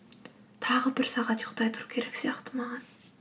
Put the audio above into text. тағы бір сағат ұйықтай тұру керек сияқты маған